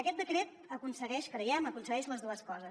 aquest decret aconsegueix creiem les dues coses